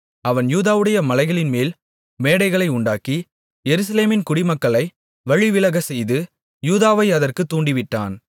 அவன் யூதாவுடைய மலைகளின்மேல் மேடைகளை உண்டாக்கி எருசலேமின் குடிமக்களை வழிவிலகச்செய்து யூதாவையும் அதற்குத் தூண்டிவிட்டான்